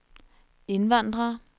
indvandrere